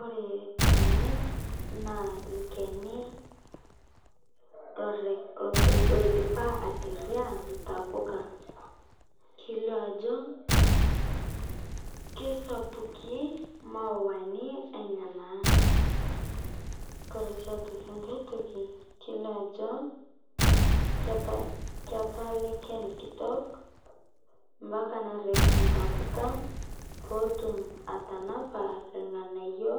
Ore tene naa olchani oidipa oiterria intapuka. Kelio ajo kisaukikin ntapuka enyena. Nidol sii ajo ketaa ele shani kitok mpaka nitadou inatpuka pee etum aatanapa irnganayio